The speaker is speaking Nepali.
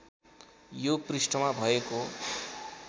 यो पृष्ठमा भएको